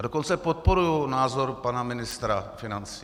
A dokonce podporuji názor pana ministra financí.